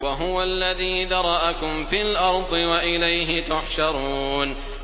وَهُوَ الَّذِي ذَرَأَكُمْ فِي الْأَرْضِ وَإِلَيْهِ تُحْشَرُونَ